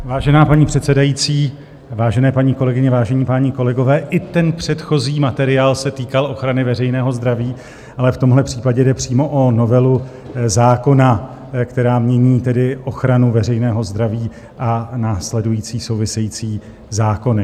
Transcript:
Vážená paní předsedající, vážené paní kolegyně, vážení páni kolegové, i ten předchozí materiál se týkal ochrany veřejného zdraví, ale v tomhle případě jde přímo o novelu zákona, která mění tedy ochranu veřejného zdraví a následující související zákony.